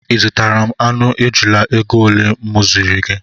I zụtara aṅụ ejula égo ole mụ ziri gị?